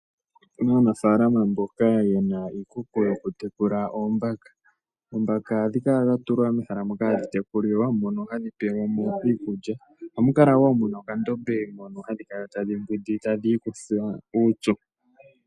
Opuna aanafaalama mboka yena iikuku yoku tula oombaka. Oombaka ohadhi kala dha tulwa mehala moka hadhi tekulilwa, mono hadhi pelwa mo iikulya. Ohamu kala wo muna okandombe mono hadhi kala tadhi mbwindi tadhi ikutha uupyu.